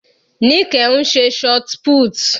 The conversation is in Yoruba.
Nike ń ṣe shotput.